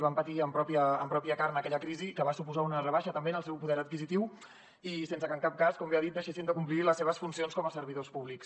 van patir en pròpia carn aquella crisi que va suposar una rebaixa també en el seu poder adquisitiu i sense que en cap cas com bé ha dit deixessin de complir les seves funcions com a servidors públics